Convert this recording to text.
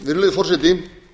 virðulegi forseti